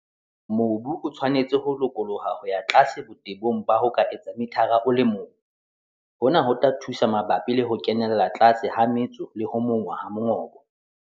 Mobu o tshwanetse ho lokoloha ho ya tlase botebong ba ho ka etsang mithara o le mong. Hona ho tla thusa mabapi le ho kenella tlase ha metso le ho monngwa ha mongobo.